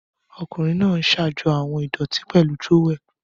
Ọkunrin naa n ṣajọ awọn idoti pẹlu trowel.